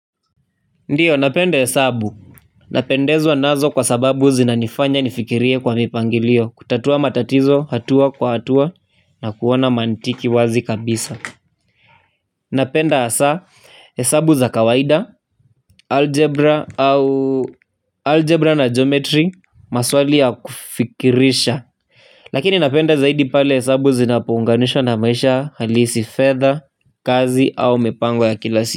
Ndiyo napenda hesabu napendezwa nazo kwa sababu zinanifanya nifikirie kwa mipangilio kutatua matatizo hatua kwa hatua na kuona mantiki wazi kabisa napenda asaa hesabu za kawaida algebra au algebra na geometry maswali ya kufikirisha lakini napenda zaidi pale hesabu zinapounganishwa na maisha halisi fedha kazi au mipango ya kila si.